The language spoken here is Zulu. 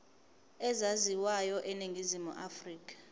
ezaziwayo eningizimu afrika